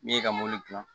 Min ye ka mobili dilan